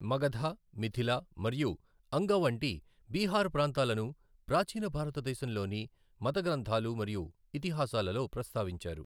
మగధ, మిథిల మరియు అంగ వంటి బీహార్ ప్రాంతాలను ప్రాచీన భారతదేశంలోని మత గ్రంథాలు మరియు ఇతిహాసాలలో ప్రస్తావించారు.